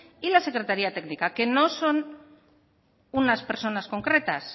y la secretaría técnica que no son unas personas concretas